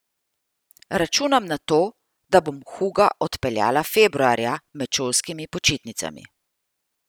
Računam na to, da bom Huga odpeljala februarja, med šolskimi počitnicami.